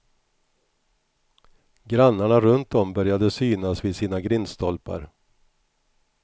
Grannarna runtom började synas vid sina grindstolpar.